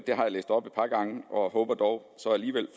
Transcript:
læst op et par gange og jeg håber dog så alligevel